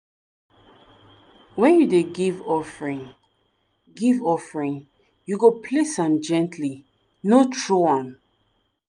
when you dey give offering give offering you go place am gently no throw am.